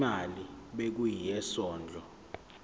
imali ebekiwe yesondlo